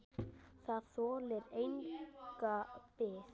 Það þolir enga bið!